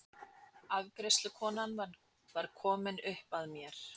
Afgreiðslukonan var komin upp að mér.